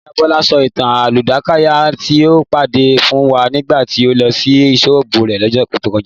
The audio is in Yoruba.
Ìyá Bọ́lá sọ ìtàn àkúdàáyá tí ó pàdé fún wa nígbà tí a lọ sí ṣọ́ọ̀bù rẹ̀ lọ́sẹ̀ tó kọjá